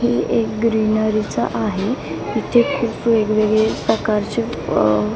ही एक ग्रीनरीच आहे तिथे खूप वेगवेगळे प्रकारचे--